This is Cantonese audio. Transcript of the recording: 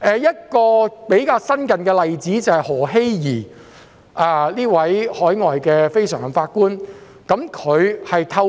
一個較新的例子是前海外非常任法官何熙怡。